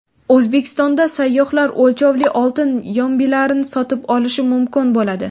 O‘zbekistonda sayyohlar o‘lchovli oltin yombilarni sotib olishi mumkin bo‘ladi.